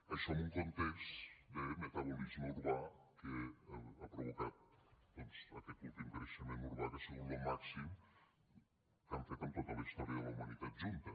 això en un context de metabolisme urbà que ha provocat doncs aquest últim creixement urbà que ha sigut lo màxim que hem fet en tota la història de la humanitat junta